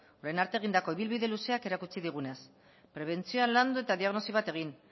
orain arte egindako ibilbide luzeak erakutsi digunez prebentzioa landu eta diagnosi bat egin